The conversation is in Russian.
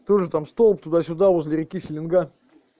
тоже там стол туда-сюда возле реки селенга